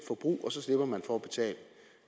forbrug og så slipper man for at betale